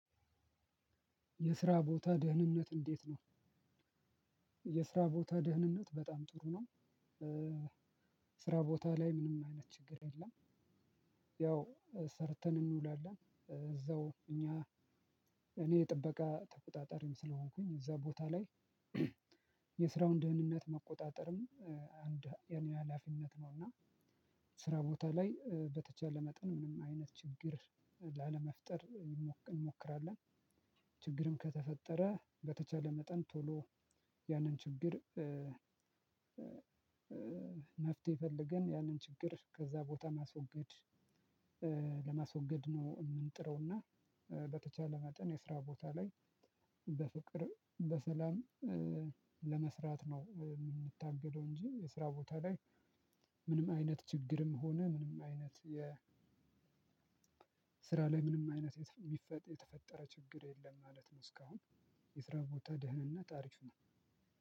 የስራ ቦታ ደህንነት እንዴት ነው? የስራ ቦታ ደህንነት በጣም ጥሩ ነው። ስራ ቦታ ላይ ምንም አይነት ችግር የለም። ያው ሰርተን እንውላለን እዛው እኛ እኔ ጥበቃ ተቆጣጣሪም ስለሆንኩኝ እዛ ቦታ ላይ። የስራውን ደህንነት መቆጣጠርም አንድ የኔ ሀላፊነት ነውና ስራ ቦታ ላይ በተቻለ መጠን ምንም አይነት ችግር ላለመፍጠር እንሞክራለን። ከተፈጠረ በተቻለ መጠን ቶሎ ያንን ችግር። መፍትሄ ፈልገን ያንን ችግር ከዛ ቦታ ማስወገድ ለማስወገድ ነው የምንጥረውና። በተቻለ መጠን የስራ ቦታ ላይ በፍቅር በሰላም ለመስራት ነው የምንታገለው እንጂ የስራ ቦታ ላይ። ምንም አይነት ችግርም ሆነ ምንም አይነት የ ስራ ላይ ምንም አይነት የተፈጠረ ችግር የለም ማለት ነው። እስካሁን የስራ ቦታ ደህንነት አሪፍ ነው።